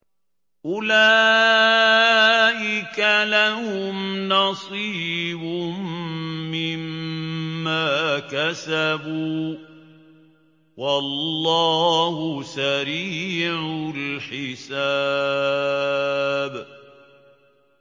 أُولَٰئِكَ لَهُمْ نَصِيبٌ مِّمَّا كَسَبُوا ۚ وَاللَّهُ سَرِيعُ الْحِسَابِ